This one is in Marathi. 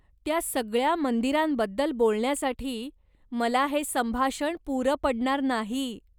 त्या सगळ्या मंदिरांबद्दल बोलण्यासाठी मला हे संभाषण पुरं पडणार नाही.